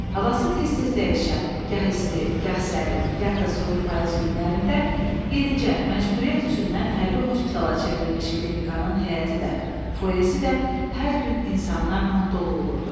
Havası tez-tez dəyişən, gah isti, gah sərin, gah da soyuq payız günlərində yenicə məcburiyyət üzündən hərbi hospitala çevrilmiş klinikanın həyəti də, foeyesi də hər gün insanlarla dolu olurdu.